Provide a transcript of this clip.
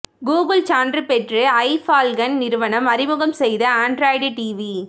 Google சான்று பெற்று iFFALCON நிறுவனம் அறிமுகம் செய்த ஆண்ட்ராய்டு டிவி